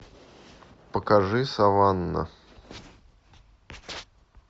покажи саванна